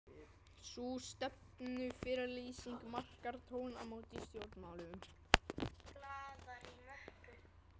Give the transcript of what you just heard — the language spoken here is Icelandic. Sú stefnuyfirlýsing markar tímamót í stjórnmálum.